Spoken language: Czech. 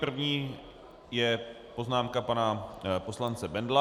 První je poznámka pana poslance Bendla.